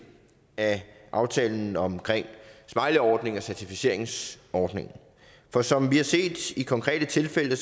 af aftalen om smileyordningen og certificeringsordningen for som vi har set i konkrete tilfælde